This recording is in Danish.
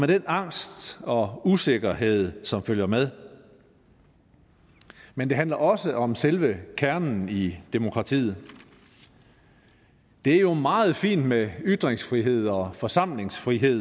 den angst og usikkerhed som følger med men det handler også om selve kernen i demokratiet det er jo meget fint med ytringsfrihed og forsamlingsfrihed